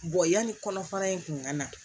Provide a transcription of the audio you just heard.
yanni kɔnɔfara in kun ka na